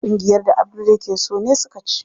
Kungiyar da Abdul yake so ne suka ci.